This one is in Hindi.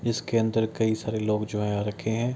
जिसके अंदर कई सारे लोग जो हैं आ रखे हैं।